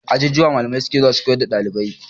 A ajujuwa malami suke zuwa su koyar da ɗaliba